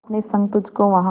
अपने संग तुझको वहां